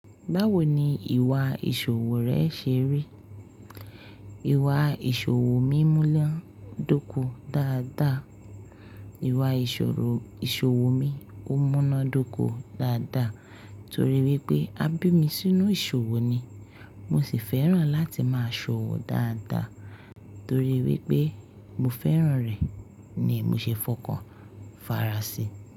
Báwo ni ìwà ìṣòwò rẹ ṣe rí? Ìwà ìṣòwò mi múnan dọ́kọ́ dáadáa. Ìwà ìṣòwò ìṣòwò mi ó múná dóko dáadáa torí wípé a bí mi sínú ìṣòwò ni. Mosì fẹ́ràn láti máa ṣòwò dáadáa torí wípé mo fẹ́ràn rẹ̀ ni mo ṣe fọkàn fara sí.